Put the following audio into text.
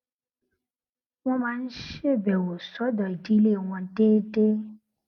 wón máa ń ṣèbèwò sódò ìdílé wọn déédéé